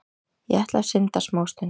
Ég ætla að synda smástund.